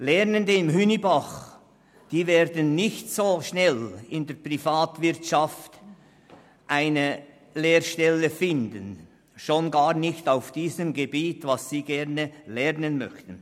Lernende in Hünibach werden nicht so rasch eine Lehrstelle in der Privatwirtschaft finden, schon gar nicht auf dem Gebiet, in dem sie gerne arbeiten möchten.